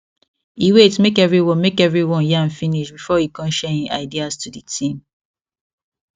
e wait make everyone make everyone yarn finish before e con share hin ideas to the team